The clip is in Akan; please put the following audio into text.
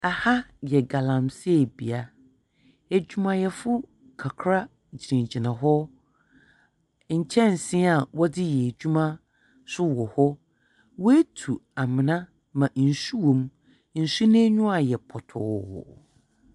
Aha yɛ galamseebea. Adwumayɛfo kakra gyinagyina hɔ, nkyɛnsee a wɔdze yɛ adwuma nso wɔ hɔ. Watu amena ma nsu wɔ mu. Nsu no ani ayɛ pɔtɔɔ.